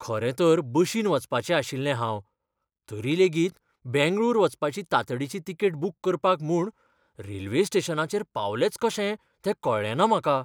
खरें तर बशीन वचपाचें आशिल्लें हांव. तरी लेगीत बेंगळूर वचपाची तांतडीची तिकेट बूक करपाक म्हूण रेल्वे स्टेशनाचेर पावलेंच कशें तें कळ्ळेंना म्हाका.